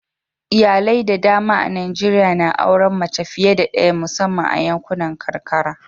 Iyalai da dama a Najeriya na auren mace fiye da daya musamman a yankunan karkara.